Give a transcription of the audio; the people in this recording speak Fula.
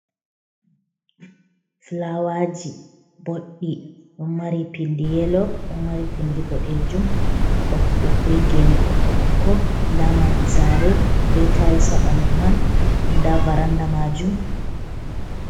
Fulawaji boɗɗi ɗo mari pindi yelo, ɗo mari pindi boɗejum, be gene ɓokko-ɓokko, nda maadi sare be tayils ha ɓandu man, nda varanda majum.